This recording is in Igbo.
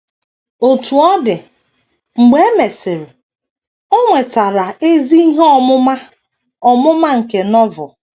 Otú ọ dị, mgbe e mesịrị, o nwetara ezi ihe ọmụma ọmụma nke Novel.